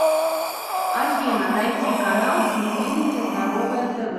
афина найти канал телевидения здоровое тв